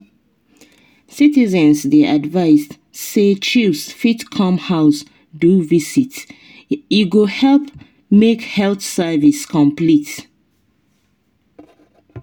citizens dey advised say chws fit come house do visit e go help make health service complete.